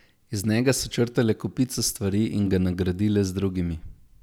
Iz njega so črtale kopico stvari in ga nagradile z drugimi.